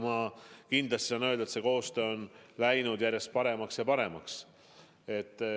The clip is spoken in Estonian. Ma kindlasti saan öelda, et see koostöö on läinud järjest paremaks ja paremaks.